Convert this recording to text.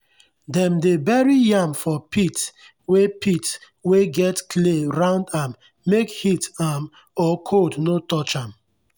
dem dey bury yam for pit wey pit wey get clay round am make heat um or cold no touch am.